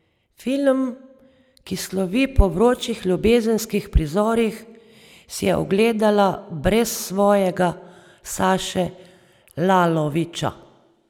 Film, ki slovi po vročih ljubezenskih prizorih, si je ogledala brez svojega Saše Lalovića.